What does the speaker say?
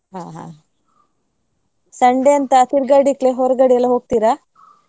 ಹಾ ಹಾ Sunday ಅಂತ ತಿರುಗಾಡ್ಲಿಕ್ಕೆ ಹೊರ್ಗಡೆ ಎಲ್ಲಾ ಹೋಗ್ತೀರಾ?